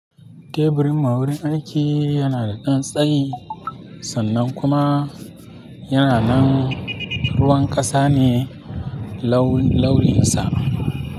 Teburin ma'aurin aiki yana da ɗan tsayi sannan kuma yana nan ruwan ƙasa ne laun-launinsa.